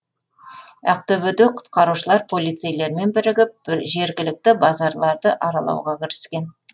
ақтөбеде құтқарушылар полицейлермен бірігіп жергілікті базарларды аралауға кіріскен